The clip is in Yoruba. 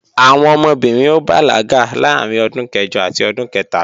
Àwọn ọmọbìnrin ó bàlágà láàárín ọdún kẹjọ àti ọdún kẹtàlá